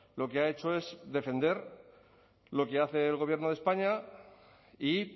lo que ha hecho es defender lo que hace el gobierno de españa y